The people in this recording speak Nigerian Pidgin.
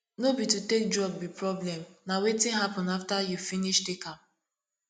no be to take drug be problem na wetin happen after you finish take am